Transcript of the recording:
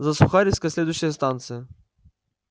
за сухаревской следующая станция